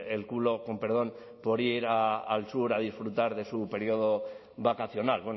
el culo con perdón por ir al sur a disfrutar de su periodo vacacional